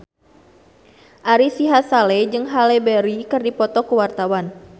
Ari Sihasale jeung Halle Berry keur dipoto ku wartawan